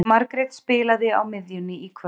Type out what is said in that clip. Margrét spilar á miðjunni í kvöld.